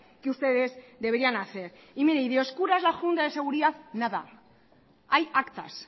que ustedes deberían hacer y de oscura es la junta de seguridad nada hay actas